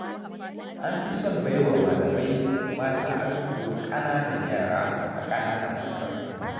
An fi son baiwa malamai mata azuzuwan ƙananan yara a ƙananan makarantu.